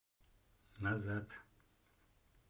назад